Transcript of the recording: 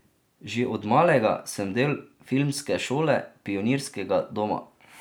Že od malega sem del filmske šole Pionirskega doma.